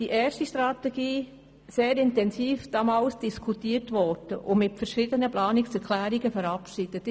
Die erste Strategie wurde 2010 sehr intensiv diskutiert und mit mehreren Planungserklärungen verabschiedet.